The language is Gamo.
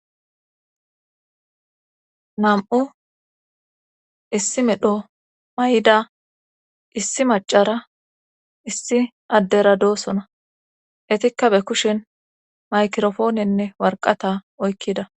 Nam'u issi medho may'da issi macara issi addera doosona etikka be kushin makirofoonenne warqata oykkida.